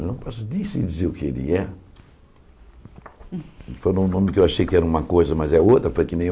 Eu não posso nem sei dizer o que ele é. Foi um nome que eu achei que era uma coisa, mas é outra, foi que nem um.